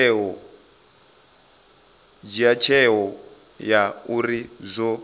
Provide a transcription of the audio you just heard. dzhia tsheo ya uri zwo